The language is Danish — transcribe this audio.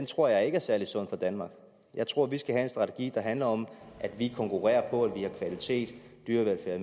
tror jeg ikke er særlig sund for danmark jeg tror vi skal have en strategi der handler om at vi konkurrerer på at vi har kvalitet dyrevelfærd og